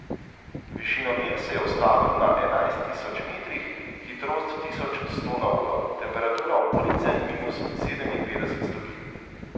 Višinomer se je ustavil na enajst tisoč metrih, hitrost tisoč sto na uro, temperatura okolice minus sedeminpetdeset stopinj.